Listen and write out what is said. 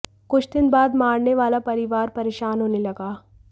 कुछ दिन बाद मारने वाला परिवार परेशान होने लगा